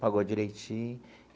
Pagou direitinho.